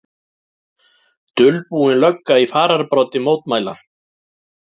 Dulbúin lögga í fararbroddi mótmæla